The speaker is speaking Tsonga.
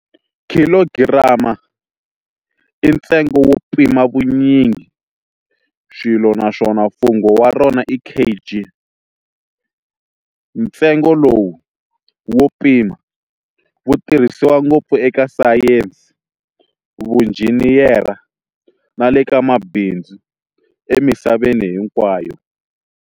Khilogiram i ntsengo wo pima vunyingiswilo nswona mfungo wa rona i kg. Ntsengo lowu wo pima, wu tirhisiwa ngopfu eka sayensi, vunjhiniyera na leka mabinzu emisaveni hinkwayo.